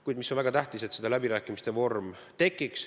Kuid väga tähtis on, et tekiks läbirääkimiste vorm.